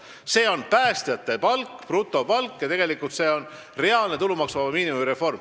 See on päästjate palk, brutopalk, ja see on reaalne tulumaksuvaba miinimumi reform.